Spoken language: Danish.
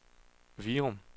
Virum